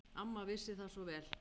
Amma vissi það svo vel.